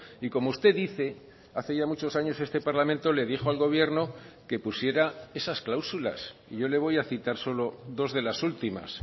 y como usted dice hace ya muchos años este parlamento le dijo al gobierno que pusiera esas cláusulas y yo le voy a citar solo dos de las últimas